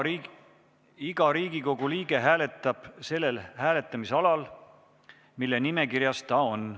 Iga Riigikogu liige hääletab sellel hääletamisalal, mille nimekirjas ta on.